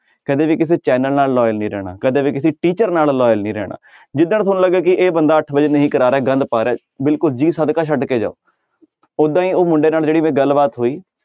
ਕਦੇ ਵੀ ਕਿਸੇ ਚੈਨਲ ਨਾਲ loyal ਨੀ ਰਹਿਣਾ ਕਦੇ ਵੀ ਕਿਸੇ teacher ਨਾਲ loyal ਨੀ ਰਹਿਣਾ ਜਿੱਧਰ ਤੁਹਾਨੂੰ ਲੱਗੇ ਕਿ ਇਹ ਬੰਦਾ ਅੱਠ ਵਜੇ ਨਹੀਂ ਕਰਾ ਰਿਹਾ ਗੰਦ ਪਾ ਰਿਹਾ ਬਿਲਕੁਲ ਜੀ ਸਦਕਾ ਛੱਡ ਕੇ ਜਾਓ ਓਦਾਂ ਹੀ ਉਹ ਮੁੰਡੇ ਨਾਲ ਜਿਹੜੀ ਮੇਰੀ ਗੱਲਬਾਤ ਹੋਈ,